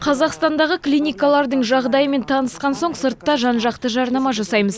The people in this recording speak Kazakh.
қазақстандағы клиникалардың жағдайымен танысқан соң сыртта жан жақты жарнама жасаймыз